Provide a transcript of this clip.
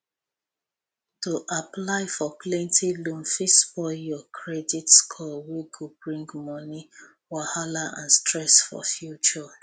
to apply for plenty loan fit spoil your credit score wey go bring moni wahala and stress for future